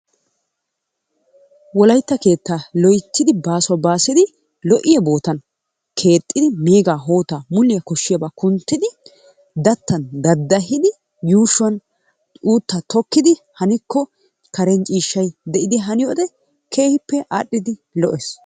Wolaytta keettaa loyttidi baasuwa baasidi lo"iya bootan keexxidi meegaa hootaa muliya koshshiyabaa kunttidi gattan daddahidi yuushuwan uuttaa tokkidi hanikko karen ciishshay de'idi haniyode keehippe aadhdhidi lo'ees.